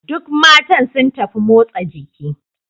Duk matan sun tafi motsa jiki.